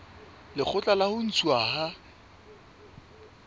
lekgotla la ho ntshuwa ha